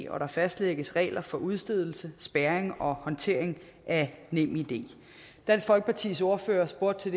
og der fastlægges regler for udstedelse spærring og håndtering af nemid dansk folkepartis ordfører spurgte